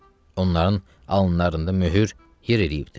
Onların alınlarında möhür yer eləyibdir.